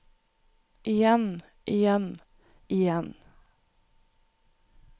igjen igjen igjen